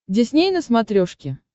дисней на смотрешке